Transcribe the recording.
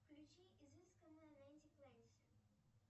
включи изысканная нэнти клэнси